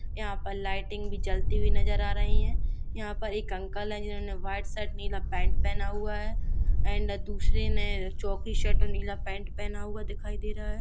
यहाँ पर लाइटिंग भी जलती हुई नजर आ रही है यहाँ पर एक अंकल है जिन्होंने वाईट शर्ट नीला पेन्ट पहना हुआ है एण्ड दूसरे ने चोंकी शर्ट नीला पेन्ट पहना हुआ दिखाई दे रहा है।